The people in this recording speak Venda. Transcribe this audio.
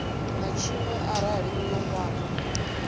na tshiṅwe arali uyo nwana